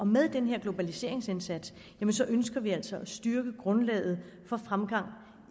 med denne globaliseringsindsats ønsker vi altså at styrke grundlaget for fremgang